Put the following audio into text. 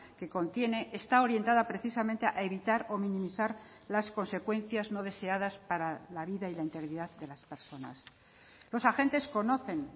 que contiene está orientada precisamente a evitar o minimizar las consecuencias no deseadas para la vida y la integridad de las personas los agentes conocen